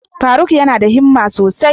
Faruk yana da himma sosai.